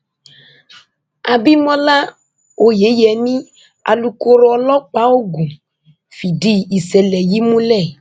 àbímọlá oyeyẹmí alūkkoro ọlọpàá ogun fìdí ìṣẹlẹ yìí múlẹ